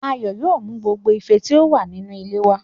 Ayọ̀ yóò mú gbogbo ife tí ó wà ní inú ilé wá